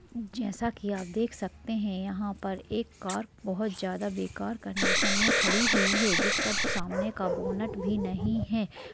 जैसा की आप देख सकते है यहा पर एक कार बहुत ज्यादा बेकार कंडीसन में खड़ी हुई है जिसका अप सामने का बोनट भी नही है।